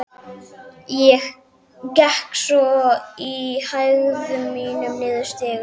Gekk svo í hægðum mínum niður stigann.